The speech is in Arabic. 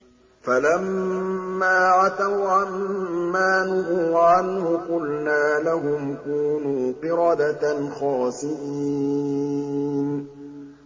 فَلَمَّا عَتَوْا عَن مَّا نُهُوا عَنْهُ قُلْنَا لَهُمْ كُونُوا قِرَدَةً خَاسِئِينَ